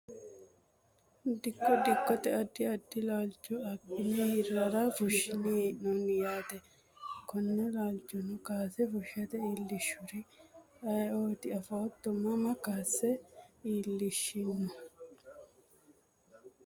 Dikko dikote adi adi laalcho abine hirara fushine heenoni yaate kone laalcho kaase fushite liilishuri ayiioti afooto mama kaase iilishino?